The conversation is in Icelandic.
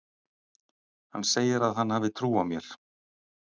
Hann segir að hann hafi trú á mér.